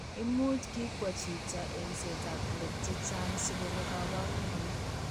Imuch kikwo chito eng'setab let chechang' sikoreek kabarunoik.